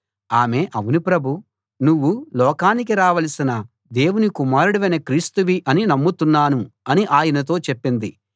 ఆమె అవును ప్రభూ నువ్వు లోకానికి రావలసిన దేవుని కుమారుడవైన క్రీస్తువి అని నమ్ముతున్నాను అని ఆయనతో చెప్పింది